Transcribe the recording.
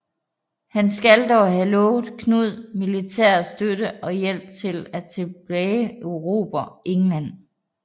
Han skal dog have lovet Knud militær støtte og hjælp til at tilbageerobre England